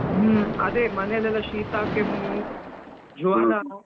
ಹ್ಮ್, ಅದೆ ಮನೇಲಿ ಎಲ್ಲ ಶೀತಾ, ಕೆಮ್ಮು, ಜ್ವರ.